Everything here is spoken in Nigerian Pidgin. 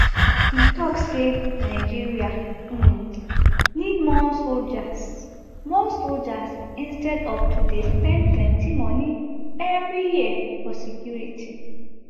e tok say nigeria um need more soldiers more soldiers instead of to dey spend plenty money eviri year for security